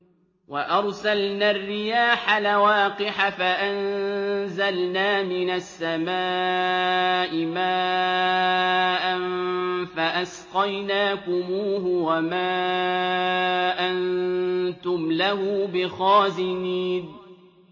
وَأَرْسَلْنَا الرِّيَاحَ لَوَاقِحَ فَأَنزَلْنَا مِنَ السَّمَاءِ مَاءً فَأَسْقَيْنَاكُمُوهُ وَمَا أَنتُمْ لَهُ بِخَازِنِينَ